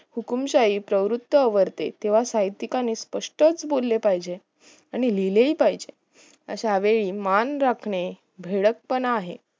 हुकूमशाही प्रवृत आवरते तेव्हा साहित्यिकांनी स्पष्टच बोलले पाहिजे आणि लिहिलेहि पाहिजे अशा वेळी मान राखणे भिडक पणा आहे